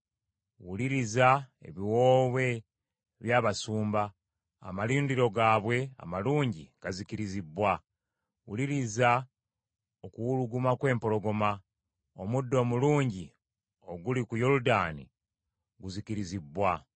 Wuliriza ebiwoobe by’abasumba, amalundiro gaabwe amalungi gazikirizibbwa. Wuliriza okuwuluguma kw’empologoma. Omuddo omulungi oguli ku Yoludaani guzikirizibbwa.